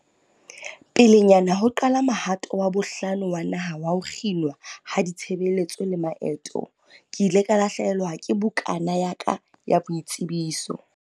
"Pelenyana ho qala mohato wa bohlano wa naha wa ho kginwa ha ditshebeletso le maeto, ke ile ka lahlehelwa ke bukana ya ka ya boitsebiso."